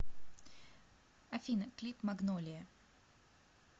афина клип магнолия